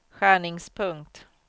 skärningspunkt